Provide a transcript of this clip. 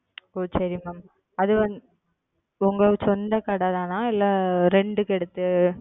உம் ஓ சரி Mam அது வந்து உங்கள் சொந்த கடைதானா? இல்ல Rent க்கு எடுத்து